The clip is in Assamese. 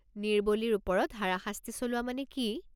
নিৰ্বলীৰ ওপৰত হাৰাশাস্তি চলোৱা মানে কি?